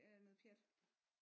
Er noget pjat